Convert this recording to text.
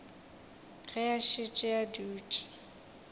ge a šetše a dutše